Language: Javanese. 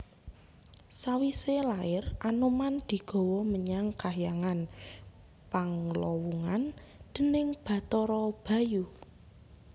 Sawisé lair Anoman digawa menyang kahyangan Panglawungan déning Bathara Bayu